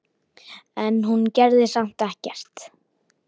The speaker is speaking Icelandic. En hún gerði samt ekkert.